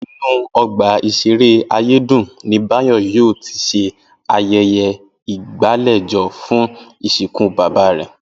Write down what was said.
Inú ọgbà ìṣeré Ayédùn ni Báyọ̀ yóò ti ṣe ayẹyẹ ìgbàlejò fún ìsìnkú bàbá rẹ̀